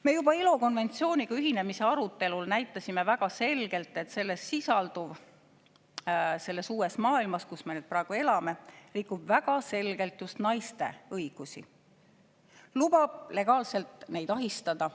Me juba ILO konventsiooniga ühinemise arutelul näitasime väga selgelt, et selles sisalduv – selles uues maailmas, kus me praegu elame – rikub väga selgelt just naiste õigusi, lubab legaalselt neid ahistada.